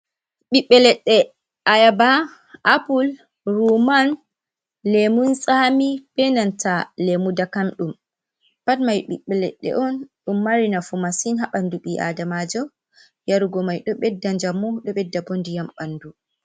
Ɓiɓɓe leɗɗe ayaba apple ruman lemun tsami benanta lemu dakamɗum, pat mai ɓiɓɓe leɗɗe on ɗum mari nafu masin haɓandu bi adamajo yarugo mai ɗo ɓedda jamu ɗo ɓedda bo ndiyam ɓandu.